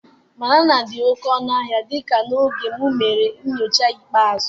Banana dị oke ọnụ ahịa dịka n'oge m mere enyocha ikpeazụ